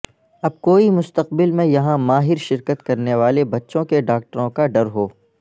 اب کوئی مستقبل میں یہاں ماہر شرکت کرنے والے بچوں کے ڈاکٹروں کا ڈر ہو